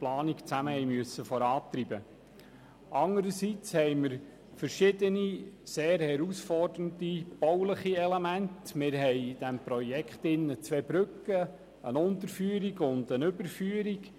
Anderseits haben wir in diesem Projekt verschiedene sehr herausfordernde bauliche Elemente: zwei Brücken, eine Unterführung und eine Überführung.